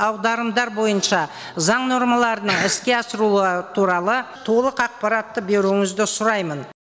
аударымдар бойынша заң нормаларының іске асырылуы туралы толық ақпарат беруіңізді сұраймын